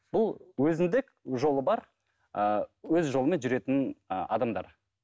бұл өзіндік жолы бар ыыы өз жолымен жүретін ы адамдар